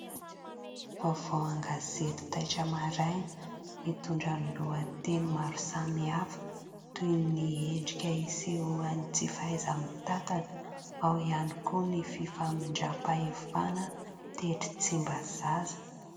Vaovao an-gazety taitra maraina, mitondra ny lohateny maro samihafa toy ny endrika iseho any tsy fahaiza-mitatana ; ao ihany koa ny fifamindram-pahefana tetsy Tsimbazaza.